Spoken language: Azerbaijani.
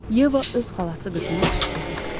Yeva öz xalası qızına dedi.